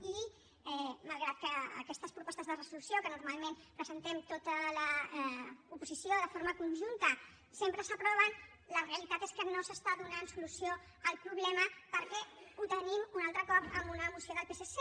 i malgrat que aquestes propostes de resolució que normalment presentem tota l’oposició de forma conjunta sempre s’aproven la realitat és que no s’està donant solució al problema perquè el tenim un altre cop en una moció del psc